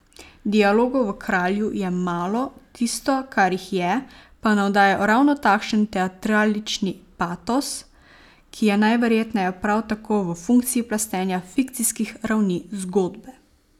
Dialogov v Kralju je malo, tisto, kar jih je, pa navdaja ravno takšen teatralični patos, ki je najverjetneje prav tako v funkciji plastenja fikcijskih ravni zgodbe.